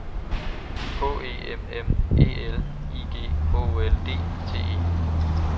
H E M M E L I G H O L D T E